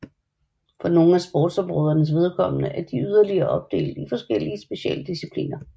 For nogle af sportsområdernes vedkommende er de yderligere opdelt i forskellige specialdiscipliner